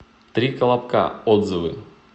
три колобка отзывы